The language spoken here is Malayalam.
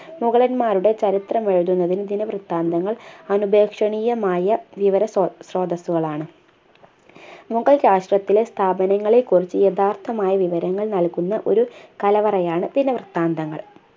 മുഗളന്മാരുടെ ചരിത്രമെഴുതുന്നതിനു ദിനവൃത്താന്തങ്ങൾ അനുപേക്ഷണീയമായ വിവര സ്രോ ശ്രോതസുകളാണ് മുഗൾ രാഷ്രത്തിലെ സ്ഥാപനങ്ങളെക്കുറിച്ചു യഥാർത്ഥമായ വിവരങ്ങൾ നൽകുന്ന ഒരു കലവറയാണ് ദിനവൃത്താന്തങ്ങൾ